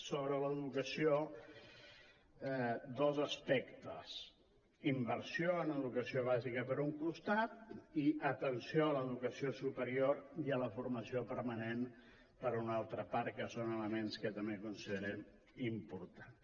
sobre l’educació dos aspectes inversió en educació bàsica per un costat i atenció a l’educació superior i a la formació permanent per una altra part que són elements que també considerem importants